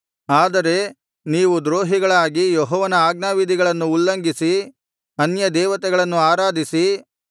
ಆದರೆ ನೀವು ದ್ರೋಹಿಗಳಾಗಿ ಯೆಹೋವನ ಆಜ್ಞಾವಿಧಿಗಳನ್ನು ಉಲ್ಲಂಘಿಸಿ ಅನ್ಯದೇವತೆಗಳನ್ನು ಆರಾಧಿಸಿ